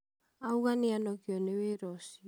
auga nĩ anogio nĩ wĩra ũcio